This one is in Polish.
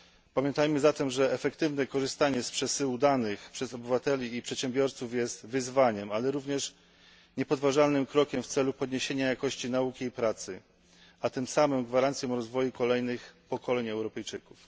Pamiętajmy zatem, że efektywne korzystanie z przesyłu danych przez obywateli i przedsiębiorców jest wyzwaniem, ale również niepodważalnym krokiem w celu podniesienia jakości nauki i pracy, a tym samym gwarancją rozwoju kolejnych pokoleń Europejczyków.